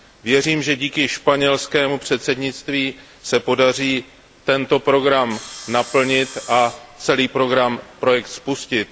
Věřím, že díky španělskému předsednictví se podaří tento program naplnit a celý projekt spustit.